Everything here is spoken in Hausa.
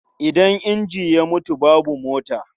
Idan inji ya mutu, babu mota.